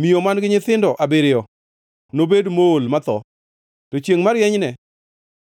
Miyo man-gi nyithindo abiriyo nobed mool matho. To chiengʼ marienyne